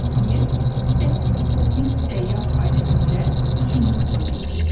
Yer səkkiz kosmik səyyah ailəsində üçüncü planetdir.